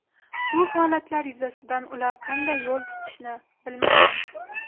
Bu holatlar yuzasidan ular qanday yo‘l tutishni bilmagan.